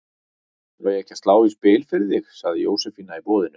Á ég ekki að slá í spil fyrir þig? sagði Jósefína í boðinu.